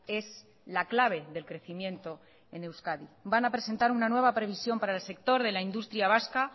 es la clave del crecimiento en euskadi van a presentar una nueva previsión para el sector de la industria vasca